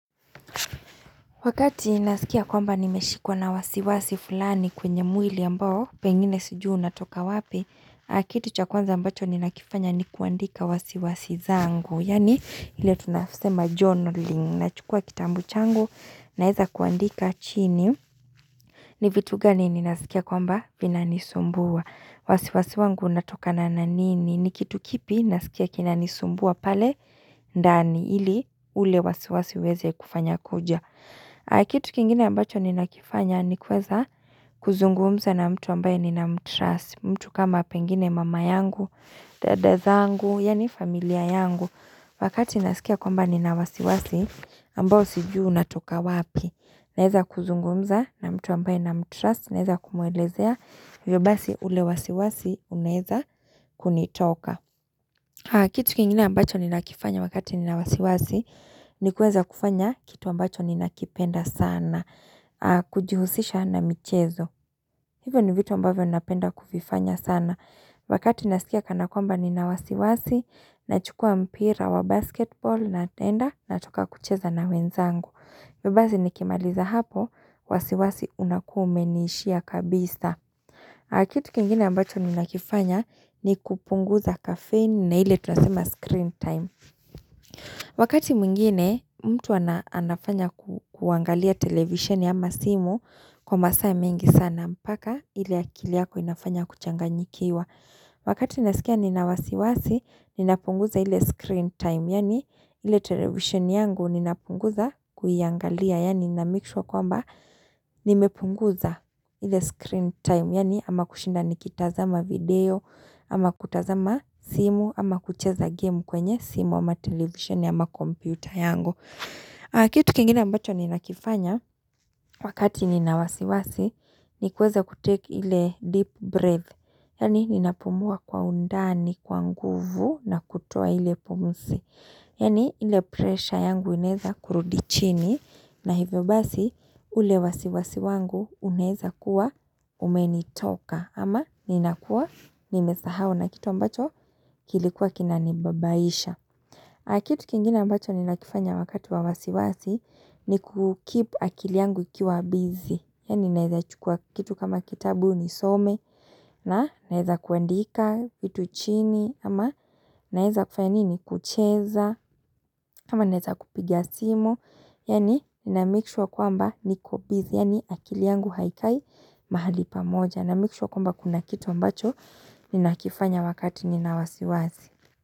Wakati naskia kwamba nimeshikwa na wasiwasi fulani kwenye mwili ambao pengine sijui unatoka wapi, kitu cha kwanza ambacho ninakifanya ni kuandika wasiwasi zangu. Yani ile tunasema journaling. Nachukua kitambu changu naweka kuandika chini. Ni vitu gani ninasikia kwamba Vinanisumbua. Wasiwasi wangu unatokana na nini? Ni kitu kipi nasikia kinanisumbua pale? Ndani ili ule wasiwasi uweze kufanya kuja. Kitu kingine ambacho ninakifanya ni kuweza kuzungumza na mtu ambaye nina mtrust mtu kama pengine mama yangu, dada zangu, yaani familia yangu Wakati nasikia kwamba nina wasiwasi, ambao sijui unatoka wapi Naweza kuzungumza na mtu ambaye na mtrust, naweza kumwelezea hivyo basi ule wasiwasi unaeza kunitoka Kitu kingine ambacho ni nakifanya wakati ni na wasiwasi ni kuweza kufanya kitu ambacho ninakipenda sana kujihusisha na michezo hivyo ni vitu ambavyo napenda kuvifanya sana wakati naskia kana kwamba nina wasiwasi nachukua mpira wa basketball natenda nataka kucheza na wenzangu hivyo basi nikimaliza hapo wasiwasi unakuwa umeniishia kabisa kitu kingine ambacho ninakifanya ni kupunguza kafein na ile tunasema screen time Wakati mwingine mtu anafanya kuangalia televisioni ama simu kwa masaa mengi sana mpaka ile akili yako inafanya kuchanganyikiwa. Wakati nasikia nina wasiwasi ninapunguza ile screen time yaani ile televisheni yangu ninapunguza kuiangalia yani na make sure kwamba nimepunguza ile screen time yaani ama kushinda nikitazama video ama kutazama simu ama kucheza game kwenye simu ama televisioni. Computer yangu, Kitu kingine ambacho ninakifanya wakati nina wasiwasi ni kuweza ku take ile deep breath. Yaani ninapumua kwa undani kwa nguvu na kutoa ile pumzi. Yaani ile pressure yangu inaweza kurudi chini na hivyo basi ule wasiwasi wangu unaweza kuwa umenitoka. Ama ninakuwa nimesahau na kitu ambacho kilikuwa kinanibabaisha. Kitu kingine ambacho ninakifanya wakati wa wasiwasi ni ku keep akili yangu ikiwa busy. Yaani naweza chukua kitu kama kitabu nisome na naeza kuandika kitu chini ama naeza kufanya nini kucheza ama naweza kupiga simu. Yaani na make sure kwamba niko busy yaani akili yangu haikai mahali pamoja na make sure kwamba kuna kitu ambacho ninakifanya wakati nina wasiwasi.